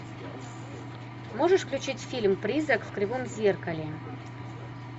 можешь включить фильм призрак в кривом зеркале